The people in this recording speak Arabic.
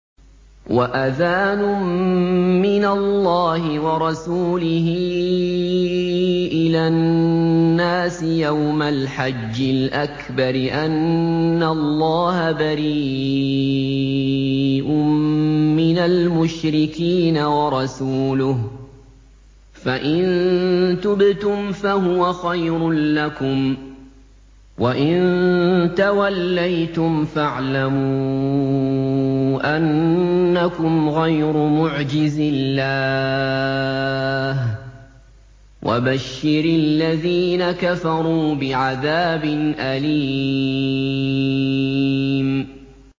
وَأَذَانٌ مِّنَ اللَّهِ وَرَسُولِهِ إِلَى النَّاسِ يَوْمَ الْحَجِّ الْأَكْبَرِ أَنَّ اللَّهَ بَرِيءٌ مِّنَ الْمُشْرِكِينَ ۙ وَرَسُولُهُ ۚ فَإِن تُبْتُمْ فَهُوَ خَيْرٌ لَّكُمْ ۖ وَإِن تَوَلَّيْتُمْ فَاعْلَمُوا أَنَّكُمْ غَيْرُ مُعْجِزِي اللَّهِ ۗ وَبَشِّرِ الَّذِينَ كَفَرُوا بِعَذَابٍ أَلِيمٍ